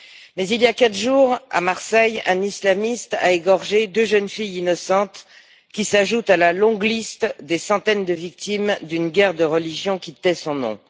Mais il y a quatre jours, à Marseille, un islamiste a égorgé deux jeunes filles innocentes, qui s'ajoutent à la longue liste des centaines de victimes d'une guerre de religion qui tait son nom.